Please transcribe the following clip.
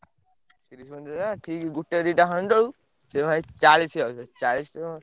ଠିକ୍ ଗୋଟେ ଦିଟା ଖଣ୍ଡେ ବେଳକୁ ସେ ଭାଇ ଚାଳିଶି ଚାଳିଶି।